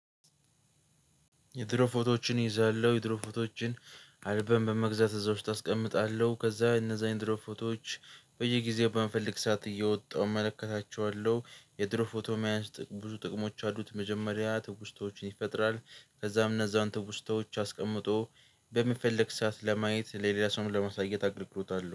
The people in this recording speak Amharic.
የድሮ ፎቶዎችን እይዛለሁ የድሮ ፎቶዎችን አልበም በመግዛት እዛ ውስጥ አስቀምጣለሁ ከዛ እነዛን የድሮ ፎቶዎች በየጊዜው በመፈለግ ሰዓት እያወጣሁ እመለከታቸዋለሁ። የድሮ ፎቶ መያዝ ብዙ ጥቅሞች አሉት። መጀመሪያ ትውስታዎችን ይፈጥራል ከዛም እነዛን ትውስታዎች አስቀምጦ በምፈለግ ሰዓት ለማየት ለሌላ ሰውም ለመሳየት አገልግሎት አለው